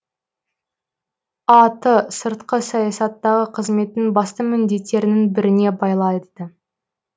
а ты сыртқы саясаттағы қызметінің басты міндеттерінің біріне балайды